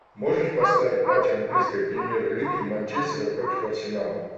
можешь поставить матч английской премьер лиги манчестера против арсенала